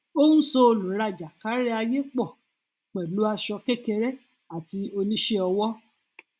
ó ń so olùrajà káríayé pọ pẹlú aṣọ kékeré àti oníṣẹọwọ